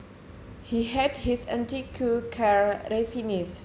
He had his antique car refinished